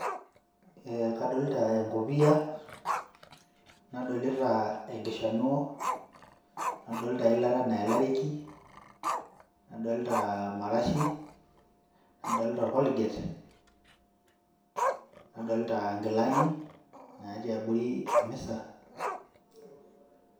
Eeh kadolita enkopia, nadolita enkishanuo, nadolita eilata naelareki nadolita marashi nadolita orkiligate, nadolita inkilani naatii abori emisa.